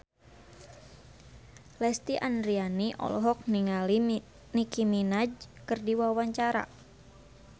Lesti Andryani olohok ningali Nicky Minaj keur diwawancara